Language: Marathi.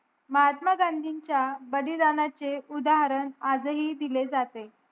महात्मा गांधीच च्या बलिदानाचे उद्धरण आज हि दिले जाते